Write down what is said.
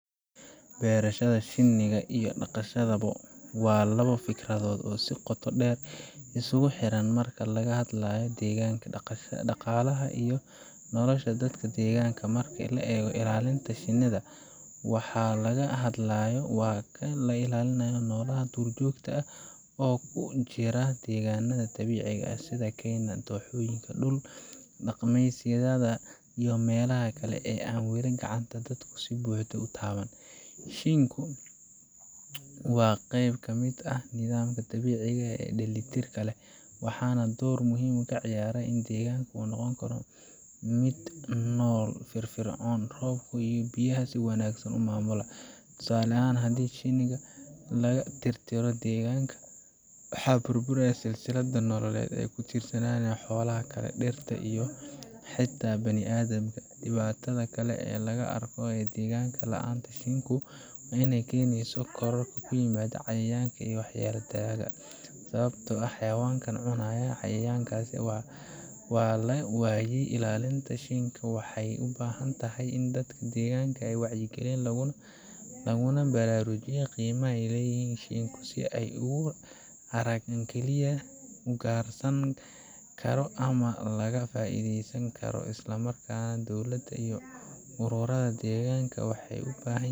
ChatGPT said: Berashada shiinka iyo dhaqashada bo waa laba fikradood oo si qoto dheer iskugu xidhan marka laga hadlayo deegaanka, dhaqaalaha iyo nolosha dadka deegaanka. Marka la eego ilaalinta shiinka, waxa laga hadlayo waa in la ilaaliyo noolaha duurjoogta ah ee ku jira deegaannada dabiiciga ah sida keymaha, dooxooyinka, dhul-daaqsimeedyada, iyo meelaha kale ee aan wali gacanta dadku si buuxda u taaban. Shiinku waa qayb ka mid ah nidaamka dabiiciga ah ee isu dheelitirka leh, waxana ay door muhiim ah ka ciyaaraan sidii deegaanka u noqon lahaa mid nool, firfircoon, oo roobka iyo biyaha si wanaagsan u maamula. Tusaale ahaan, haddii shiinka laga tirtiro deegaanka, waxaa burbura silsilad nololeed oo ay ku tiirsanaayeen xoolaha kale, dhirta, iyo xataa bini'aadamka. Dhibaatada kale ee la arko waa in deegaan la'aanta shiinku ay keenayso koror ku yimaada cayayaanka waxyeelleeya dalagga, sababtoo ah xayawaankii cunayay cayayaankaas waa la waayay. Ilaalinta shiinka waxay u baahan tahay in dadka deegaanka la wacyigeliyo, laguna baraarujiyo qiimaha uu leeyahay shiinku, si aysan ugu arag wax kaliya la ugaarsan karo ama laga faa’iidaysan karo. Isla markaana, dowladda iyo ururada deegaanka waxay u baahan yihiin